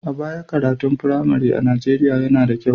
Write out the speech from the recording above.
A baya, karatun firamare a Nijeriya yana da kyau.